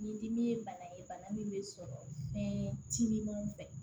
Ni dimi ye bana ye bana min bɛ sɔrɔ fɛn timinanw fɛ